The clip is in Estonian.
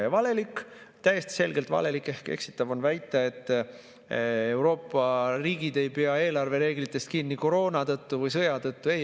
Ja valelik, täiesti selgelt valelik ehk eksitav on väita, et Euroopa riigid ei pea eelarvereeglitest kinni koroona tõttu või sõja tõttu.